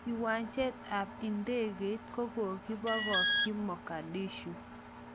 wanjet ap ndegeit kokokipong'i Mogadishu